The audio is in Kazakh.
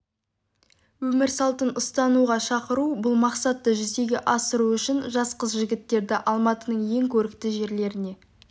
өмір салтын ұстануға шақыру бұл мақсатты жүзеге асыру үшін жас қыз-жігіттерді алматының ең көрікті жерлеріне